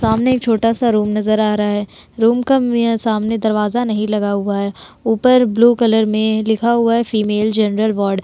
सामने एक छोटा सा रूम नजर आ रहा है। रूम का मी सामने दरवाजा नहीं लगा हुआ है। ऊपर ब्लू कलर में लिखा हुआ है फीमेल जनरल वार्ड --